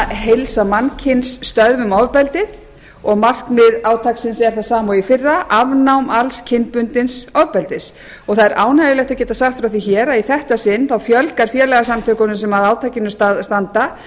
heilsa mannkyns stöðvum ofbeldið markmið átaksins er það sama og í fyrra afnám alls kynbundins ofbeldis það er ánægjulegt að geta sagt frá því hér að í þetta sinn fjölga félagasamtökunum sem að átakinu standa